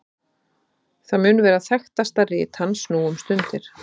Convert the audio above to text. það mun vera þekktasta rit hans nú um stundir